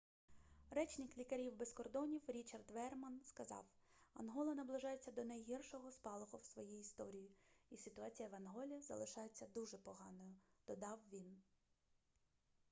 речник лікарів без кордонів річард веерман сказав ангола наближається до найгіршого спалаху в своїй історії і ситуація в анголі залишається дуже поганою додав він